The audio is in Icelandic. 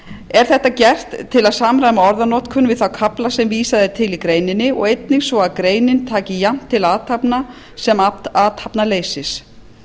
er þetta gert til að samræma orðanotkun við þá kafla sem vísað er til í greininni og einnig svo að greinin taki jafnt til athafna sem athafnaleysis